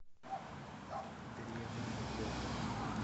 древняя йога